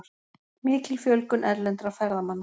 Mikil fjölgun erlendra ferðamanna